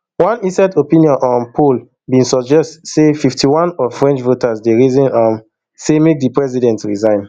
one ecent opinion um poll bin suggest say fifty-one of french voters dey reason um say make di president resign